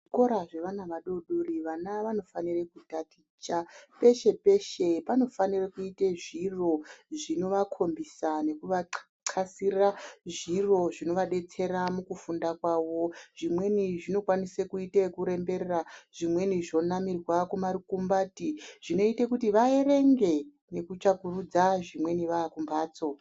Kuzvikora zvevana vadodori, vana vanofanire kutaticha peshe-peshe panofanire kuite zviro zvikovakhombisa nekuvaxasira zviro zvinovadetsera mukufunda kwavo, zvimweni zvinokwanise kuite ekuemberera, zvimweni zvonamirwa kumarukumbati, zvinoite kuti vaerenge, nekutsvagurudza zvimweni vaakumphatso.